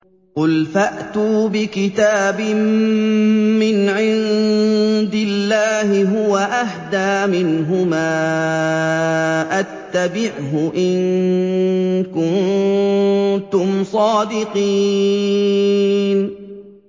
قُلْ فَأْتُوا بِكِتَابٍ مِّنْ عِندِ اللَّهِ هُوَ أَهْدَىٰ مِنْهُمَا أَتَّبِعْهُ إِن كُنتُمْ صَادِقِينَ